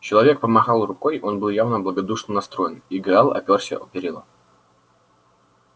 человек помахал рукой он был явно благодушно настроен и гаал опёрся о перила